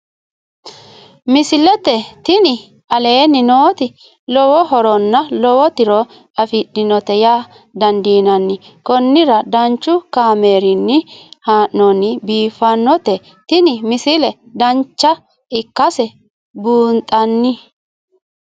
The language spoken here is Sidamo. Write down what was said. misile tini aleenni nooti lowo horonna lowo tiro afidhinote yaa dandiinanni konnira danchu kaameerinni haa'noonnite biiffannote tini misile dancha ikkase buunxanni